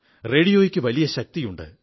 റേഡിയോയ്ക്ക് വലിയ ശക്തിയുണ്ട്